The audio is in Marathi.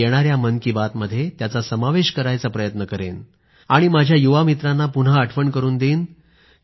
मी येणाऱ्या मन की बातमध्ये त्यांचा समावेश करायचा प्रयत्न करेन आणि माझ्या युवामित्रांना पुन्हा आठवण करून देईन